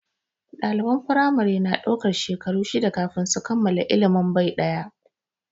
Ɗaliban firamare na daukar shekaru shida kafin su kammala ilimin bai ɗaya.